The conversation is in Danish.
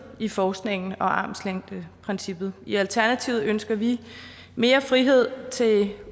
i forskningen og armslængdeprincippet i alternativet ønsker vi mere frihed til